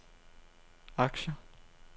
aktier